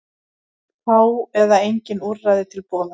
Fá eða engin úrræði til boða